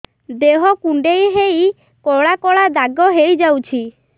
ଦେହ କୁଣ୍ଡେଇ ହେଇ କଳା କଳା ଦାଗ ହେଇଯାଉଛି